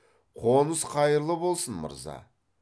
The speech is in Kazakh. қоныс қайырлы болсын мырза